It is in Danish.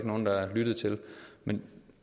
nogen der lyttede til det men